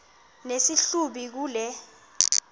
nesi hlubi kule